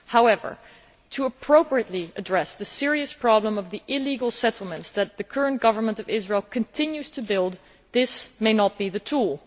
However, to appropriately address the serious problem of the illegal settlements that the current government of Israel continues to build, this may not be the tool.